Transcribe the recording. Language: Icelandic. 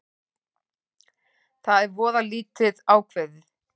Það er voða lítið ákveðið